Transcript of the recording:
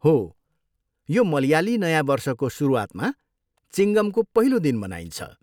हो, यो मलयाली नयाँ वर्षको सुरुवातमा, चिङ्गमको पहिलो दिन मनाइन्छ।